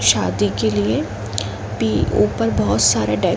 शादी के लिए भी ऊपर बहुत सारे डे --